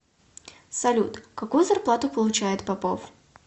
салют какую зарплату получает попов